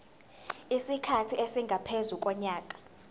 isikhathi esingaphezu konyaka